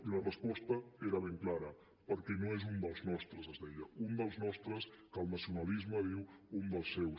i la resposta era ben clara perquè no és un dels nostres es deia un dels nostres que el nacionalisme diu un dels seus